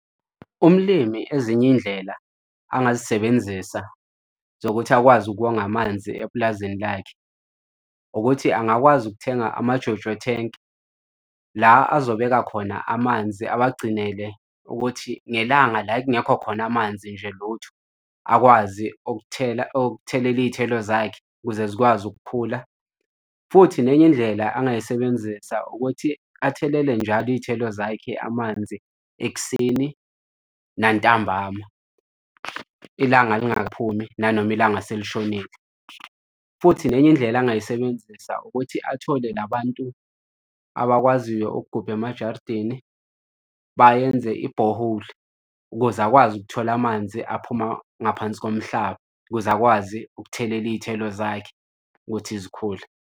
Umlimi ezinye iy'ndlela angazisebenzisa zokuthi akwazi ukonga amanzi epulazini lakhe ukuthi angakwazi ukuthenga ama-JoJo tank, la azobeka khona amanzi awagcinele ukuthi ngelanga la kungekho khona amanzi nje lutho akwazi ukuthela ukuthelela iy'thelo zakhe ukuze zikwazi ukukhula. Futhi nenye indlela angayisebenzisa ukuthi athelele njalo iy'thelo zakhe amanzi ekuseni nantambama, ilanga lingakaphumi nanoma ilanga selishonile. Futhi nenye indlela angayisebenzisa ukuthi athole la bantu abakwaziyo ukugubha emajaridini bayenze ibhoholi ukuze akwazi ukuthola amanzi aphuma ngaphansi komhlaba ukuze akwazi ukuthelela iy'thelo zakhe ukuthi zikhule.